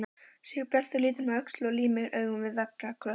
Sigurbjartur lítur um öxl og límir augun við veggjakrotið.